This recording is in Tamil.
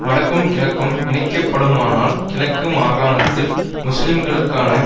வடக்கும் கிழக்கும் இணைக்கப்படுமானால் கிழக்கு மாகாணத்தில் முஸ்லிம்களுக்கான